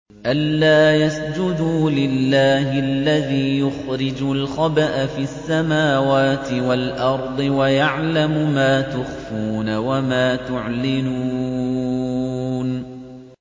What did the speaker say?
أَلَّا يَسْجُدُوا لِلَّهِ الَّذِي يُخْرِجُ الْخَبْءَ فِي السَّمَاوَاتِ وَالْأَرْضِ وَيَعْلَمُ مَا تُخْفُونَ وَمَا تُعْلِنُونَ